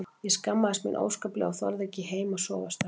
Ég skammaðist mín óskaplega og þorði ekki heim að sofa strax.